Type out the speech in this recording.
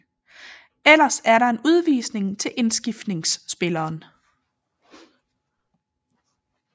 Ellers er der en udvisning til indskiftningsspilleren